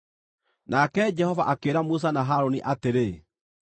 Nake Jehova akĩĩra Musa na Harũni atĩrĩ,